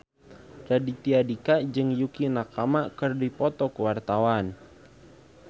Raditya Dika jeung Yukie Nakama keur dipoto ku wartawan